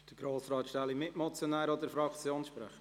Grossrat Stähli als Mitmotionär oder als Fraktionssprecher?